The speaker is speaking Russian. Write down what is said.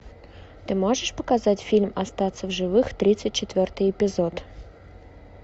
ты можешь показать фильм остаться в живых тридцать четвертый эпизод